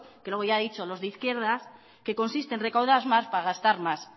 que luego ya ha dicho los de izquierdas que consiste en recaudar más para gastar más